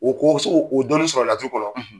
U ko o dɔnni sɔrɔ la du kɔnɔ.